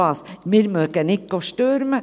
– Wir wollen kein Gestürm.